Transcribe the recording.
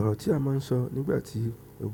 Ọ̀rọ̀ tí a máa ń sọ nígbà tí mo